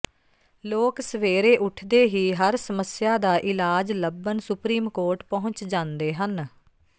ਲੋਕ ਸਵੇਰੇ ਉਠਦੇ ਹੀ ਹਰ ਸਮੱਸਿਆ ਦਾ ਇਲਾਜ ਲੱਭਣ ਸੁਪਰੀਮ ਕੋਰਟ ਪਹੁੰਚ ਜਾਂਦੇ ਹਨ